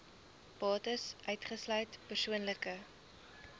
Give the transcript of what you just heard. bates uitgesluit persoonlike